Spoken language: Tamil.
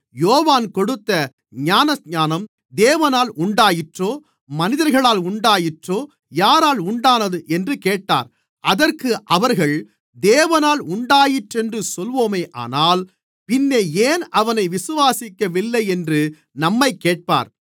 யோவான் கொடுத்த ஞானஸ்நானம் தேவனால் உண்டாயிற்றோ மனிதர்களால் உண்டாயிற்றோ யாரால் உண்டானது என்று கேட்டார் அதற்கு அவர்கள் தேவனால் உண்டாயிற்றென்று சொல்வோமானால் பின்னே ஏன் அவனை விசுவாசிக்கவில்லை என்று நம்மைக் கேட்பார்